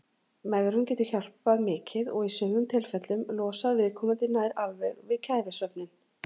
Megrun getur hjálpað mikið og í sumum tilfellum losað viðkomandi nær alveg við kæfisvefninn.